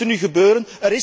Wat moet er nu gebeuren?